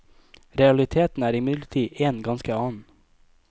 Realiteten er imidlertid en ganske annen.